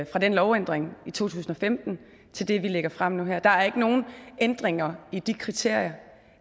fra den lovændring i to tusind og femten til det vi lægger frem nu her er der ikke nogen ændringer i de kriterier